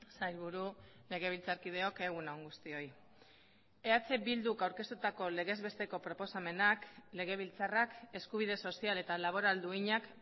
sailburu legebiltzarkideok egun on guztioi eh bilduk aurkeztutako legez besteko proposamenak legebiltzarrak eskubide sozial eta laboral duinak